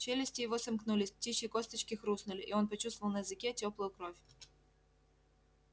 челюсти его сомкнулись птичьи косточки хрустнули и он почувствовал на языке тёплую кровь